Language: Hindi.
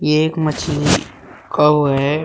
ये एक मछली का वो है।